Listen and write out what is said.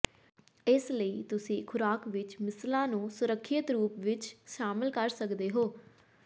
ਇਸ ਲਈ ਤੁਸੀਂ ਖੁਰਾਕ ਵਿੱਚ ਮਿਸਲਾਂ ਨੂੰ ਸੁਰੱਖਿਅਤ ਰੂਪ ਵਿੱਚ ਸ਼ਾਮਲ ਕਰ ਸਕਦੇ ਹੋ